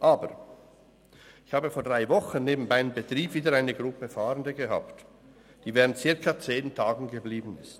Aber, ich habe vor drei Wochen neben meinem Betrieb wieder eine Gruppe Fahrende gehabt, die während circa zehn Tagen geblieben ist.